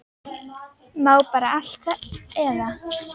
Má bara allt eða?